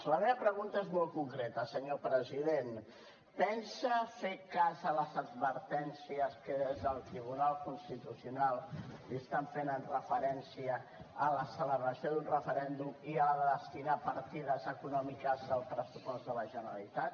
la meva pregunta és molt concreta senyor president pensa fer cas a les advertències que des del tribunal constitucional li estan fent amb referència a la celebració d’un referèndum i a la de destinar hi partides econòmiques del pressupost de la generalitat